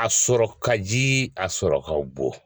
A sɔrɔ ka ji a sɔrɔ ka gɔ